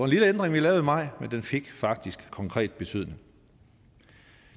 lille ændring vi lavede i maj men den fik faktisk konkret betydning